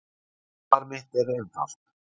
Svar mitt er einfalt